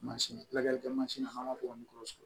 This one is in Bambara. Mansin kilakɛ mansin na n'an ma kɔn sɔrɔ